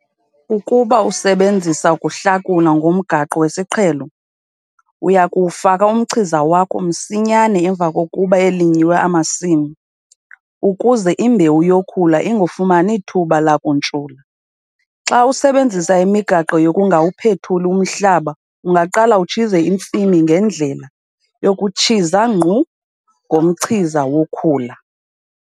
Ukuba usebenzisa ukuhlakula ngomgaqo wesiqhelo, uya kuwufaka umchiza wakho msinyane emva kokuba elinyiwe amasimi, ukuze imbewu yokhula ingafumani thuba lakuntshula. Xa usebenzisa imigaqo yokungawuphethuli umhlaba ungaqala utshize intsimi ngendlela 'yokutshisa ngqu 'ngomchiza wokhula.